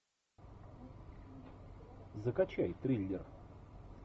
закачай триллер